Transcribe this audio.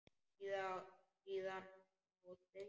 Síðan þá þriðju.